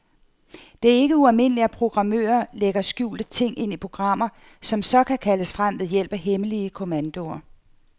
Det er ikke ualmindeligt, at programmører lægger skjulte ting ind i programmer, som så kan kaldes frem ved hjælp af hemmelige kommandoer.